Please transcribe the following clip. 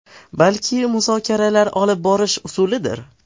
Balki muzokaralar olib borish usulidir.